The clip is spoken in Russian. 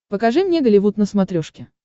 покажи мне голливуд на смотрешке